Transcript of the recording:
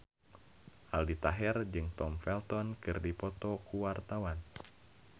Aldi Taher jeung Tom Felton keur dipoto ku wartawan